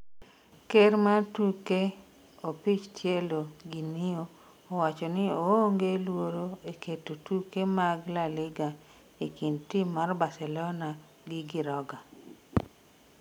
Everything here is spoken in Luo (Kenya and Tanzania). ker mar tuke opich tielo Ginio owacho ni oonge luoro e keto tuke mag laliga e kind tim mar barcelona gi Giroga